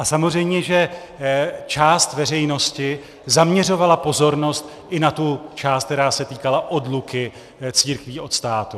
A samozřejmě že část veřejnosti zaměřovala pozornost i na tu část, která se týkala odluky církví od státu.